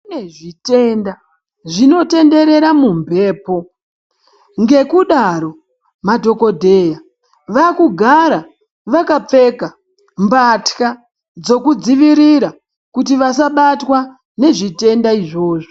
Kune zvitenda zvinotenderera mumphepo, ngekudaro madhokodheya vakugara vakapfeka mbatya dzekudzivirira kuti vasabatwa nezvitenda izvozvo.